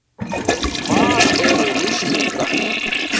Hvað eru mislingar?